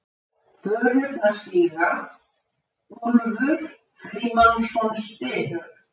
Börurnar síga, Úlfur Frímannsson stynur.